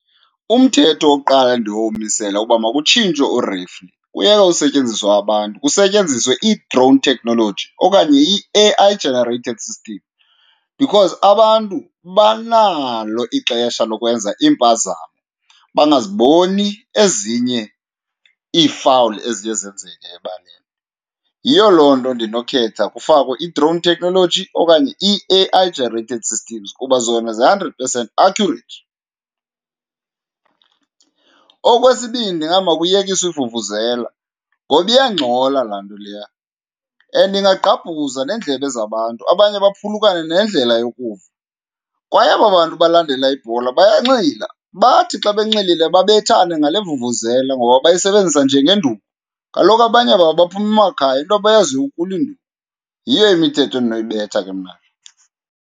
Umthetho wokuqala endinowumisela uba makutshintshwe u-referee, kuyeke usetyenziswa abantu kusetyenziswe i-drone technology okanye i-A_I generated system because abantu banalo ixesha lokwenza iimpazamo bangaziboni ezinye iifawuli eziye zenzeka ebaleni. Yiyo loo nto ndinokhetha kufakwe i-drone technology okanye i-A_I generated system kuba zona zi-hundred percent accurate. Okwesibini, hayi, makuyekiswe ivuvuzela, ngoba iyangxola laa nto leya and ingagqabhuza neendlebe zabantu abanye baphulukane nendlela yokuva. Kwaye aba bantu balandela ibhola bayanxila, bathi xa benxilile babethane ngale vuvuzela ngoba bayisebenzisa njengenduku, kaloku abanye babo baphuma emakhaya into abayaziyo kukulwa iinduku. Yiyo imithetho endinoyibetha ke mna ke.